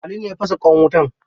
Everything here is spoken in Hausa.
Ali ne ya fasa ƙwan wutan.